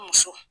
Muso